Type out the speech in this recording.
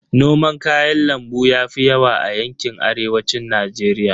Noman kayan lambu yafi yawa a yanƙin Arewacin Najeriya.